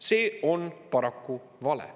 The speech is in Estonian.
See on paraku vale.